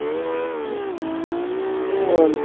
হম বল